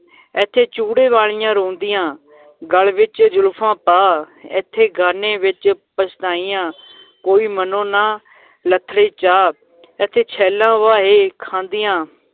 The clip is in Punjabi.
ਏਥੇ ਚੂੜੇ ਵਾਲੀਆਂ ਰੋਂਦੀਆਂ ਗਲ ਵਿਚ ਜ਼ੁਲਫ਼ਾਂ ਪਾ, ਏਥੇ ਗਾਨੇ ਵਿੱਚ ਪਛਤਾਈਆਂ ਕੋਈ ਮਨੋ ਨਾ ਲੱਥੜੇ ਚਾ ਏਥੇ ਛੈਲਾਂ ਫਾਹੇ ਖਾਂਦੀਆਂ